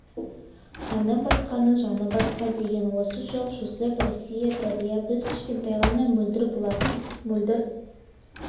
қаны басқаның жаны басқа деген осы жоқ жүсіп россия дария біз кішкентай ғана мөлдір бұлақпыз мөлдір